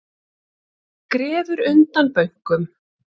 Grefur undan bönkum